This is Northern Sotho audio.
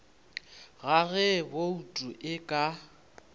ga ge bouto e ka